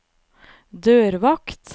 dørvakt